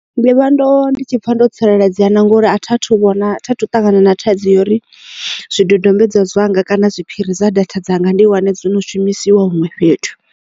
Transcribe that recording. Ndi vha ndo ndi tshi pfa ndo tsireledzea na ngori a tha thu vhona tha thu ṱangana na thaidzo ya uri zwidodombedzwa zwanga kana zwiphiri dza data dzanga ndi wane dzo no shumisiwa huṅwe fhethu.